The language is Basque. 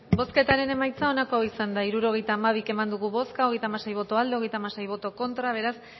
bozketaren emaitza onako izan da hirurogeita hamabi eman dugu bozka hogeita hamasei boto aldekoa treinta y seis contra beraz